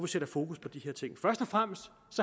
sætter fokus på de her ting først og fremmest